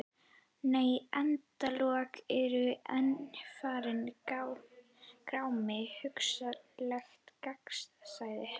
Nei endalok eru einfaldur grámi: hugsanlegt gagnsæi.